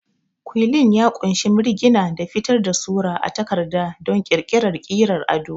Ƙwuilin ya ƙunshi mirgina da fitar da sura a takarda don ƙirƙirar ƙirar ado.